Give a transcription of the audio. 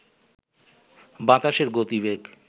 বাতাসের গতিবেগ